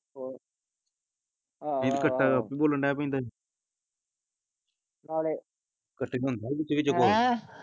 ਹੋਰ ਆਹੋ ਆਹੋ ਬੋਲ ਡੈ ਪੈਂਦਾ ਈ ਨਾਲ ਹੈਂ?